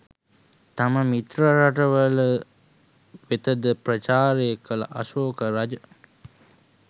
තම මිත්‍ර රටවල වෙත ද ප්‍රචාරය කළ අශෝක රජ